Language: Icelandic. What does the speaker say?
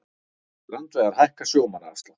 Strandveiðar hækka sjómannaafslátt